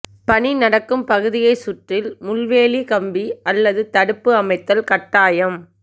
பணி நடக்கும் பகுதியைச் சுற்றில் முள்வேலி கம்பி அல்லது தடுப்பு அமைத்தல் கட்டாயம்